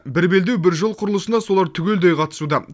бір белдеу бір жол құрылысына солар түгелдей қатысуда